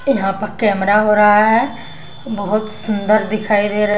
यहाँ पर कैमरा हो रहा है बहुत सुंदर दिखाई दे र --